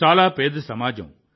చాలా పేద సమాజం